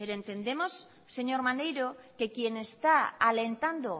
pero entendemos señor maneiro que quien está alentando